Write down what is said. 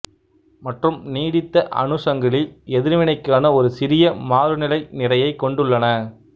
மற்றும் நீடித்த அணு சங்கிலி எதிர்வினைக்கான ஒரு சிறிய மாறுநிலை நிறையைக் கொண்டுள்ளன